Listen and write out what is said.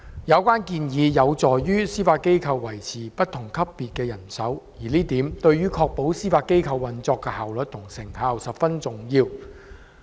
有關建議有助司法機構維持不同級別法院的人手，而這點對於確保司法機構運作的效率及成效，十分重要。